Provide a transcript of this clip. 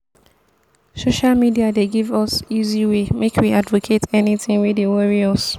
social media dey give us easy way make we advocate anything wey dey worry us.